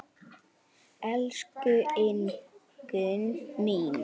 Elsku Ingunn mín.